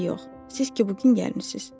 Hələ yox, siz ki bu gün gəlmisiz.